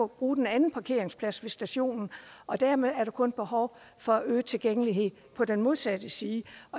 bruge den anden parkeringsplads ved stationen og dermed er der kun behov for øget tilgængelig på den modsatte side